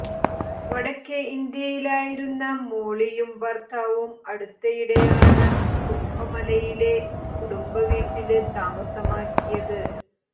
വടക്കേ ഇന്ത്യയിലായിരുന്ന മോളിയും ഭര്ത്താവും അടുത്തിടെയാണ് കുംഭമലയിലെ കുടുംബവീട്ടില് താമസമാക്കിയത്